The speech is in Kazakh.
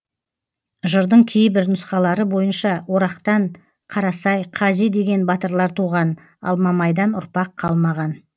жырдың кейбір нұсқалары бойынша орақтан қарасай қази деген батырлар туған ал мамайдан ұрпақ қалмаған